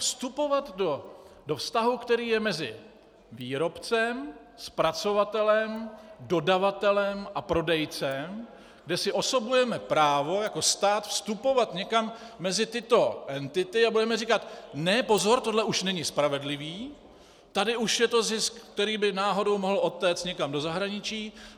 Vstupovat do vztahu, který je mezi výrobcem, zpracovatelem, dodavatelem a prodejcem, kde si osobujeme právo jako stát vstupovat někam mezi tyto entity a budeme říkat: ne, pozor, tohle už není spravedlivý, tady už je to zisk, který by náhodou mohl odtéct někam do zahraničí...